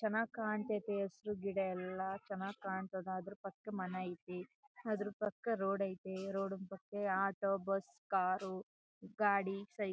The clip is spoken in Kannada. ಚನ್ನಾಗ್ ಕಾಣ್ತಾಯ್ತೆ ಹಸಿರು ಗಿಡ ಎಲ್ಲ ಚನ್ನಾಗ್ ಕಾಂತದ ಆದ್ರೂ ಪಕ್ಕ ಮನೆ ಅಯ್ತೆ ಆದ್ರೂ ಪಕ್ಕ ರೋಡ್ ಅಯ್ತೆ ರೋಡ್ ಪಕ್ಕ ಆಟೋ ಬಸ್ ಕಾರು ಗಾಡಿ --